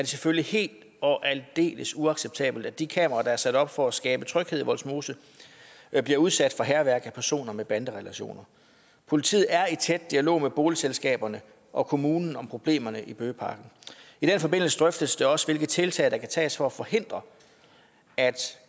selvfølgelig helt og aldeles uacceptabelt at de kameraer der er sat op for at skabe tryghed i vollsmose bliver udsat for hærværk af personer med banderelationer politiet er i tæt dialog med boligselskaberne og kommunen om problemerne i bøgeparken i den forbindelse drøftes det også hvilke tiltag der kan tages for at forhindre at